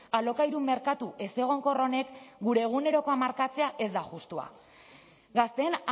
alokairu merkatu ezegonkor honek gure egunerokoa markatzea ez da justua gazteen